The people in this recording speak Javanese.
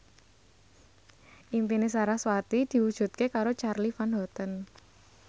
impine sarasvati diwujudke karo Charly Van Houten